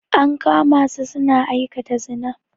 An kama su suna aikata zina.